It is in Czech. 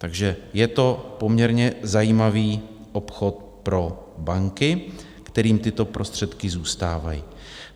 Takže je to poměrně zajímavý obchod pro banky, kterým tyto prostředky zůstávají.